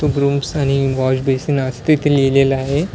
Rooms आणि wash basin अस तिथे लिहिलेलं आहे.